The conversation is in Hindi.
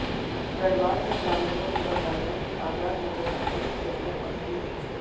दरबार में ग्रामीणों ने बताया कि आजाद नगर की सभी गलियां पक्की हैं